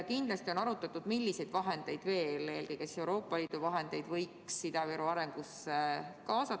Kindlasti on arutatud, milliseid vahendeid veel, eelkõige siis Euroopa Liidu vahendeid võiks Ida-Viru arengusse kaasata.